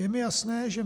Je mi jasné, že